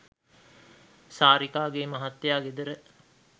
සාරිකාගේ මහත්තයා ගෙදර